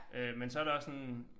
Øh men så der også sådan